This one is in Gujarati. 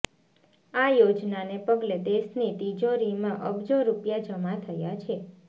આ યોજનાને પગલે દેશની તિજોરીમાં અબજો રૂપિયા જમા થયા છે